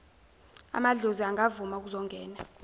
amadlozi angavuma kuzongena